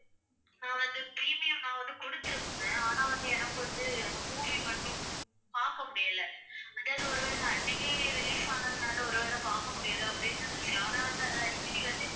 நான் வந்து premium நான் வந்து கொடுத்திருந்தேன் ஆனா வந்து எனக்கு வந்து அந்த movie மட்டும் பார்க்க முடியலை. அதாவது ஒருவேளை அன்னைக்கே release ஆனதுனால ஒருவேளை பார்க்க முடியல அப்படின்னு நினைச்சேன், ஆனா வந்து அது அடிக்கடி வந்து